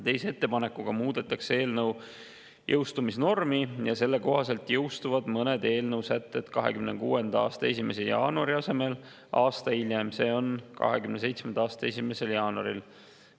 Teise ettepanekuga muudetakse eelnõu jõustumise normi ja selle kohaselt jõustuvad mõned eelnõu sätted 2026. aasta 1. jaanuari asemel aasta hiljem, see on 2027. aasta 1. jaanuaril.